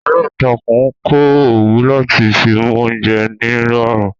Aláǹtakùn ń kọ́ òwú láti fi mú oúnjẹ nírọ̀rùn